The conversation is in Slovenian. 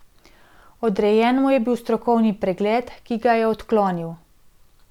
Odrejen mu je bil strokovni pregled, ki ga je odklonil.